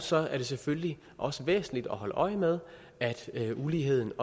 så er det selvfølgelig også væsentligt at holde øje med at uligheden